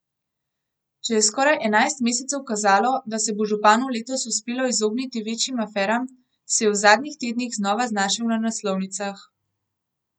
Če je skoraj enajst mesecev kazalo, da se bo županu letos uspelo izogniti večjim aferam, se je v zadnjih tednih znova znašel na naslovnicah.